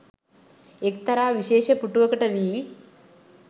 එක්තරා විශේෂ පුටුවකට වී